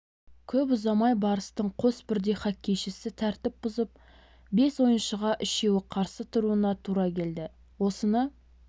көп ұзамай барыстың қос бірдей хоккейшісі тәртіп бұзып бес ойыншыға үшеуі қарсы тұруына тура келді осыны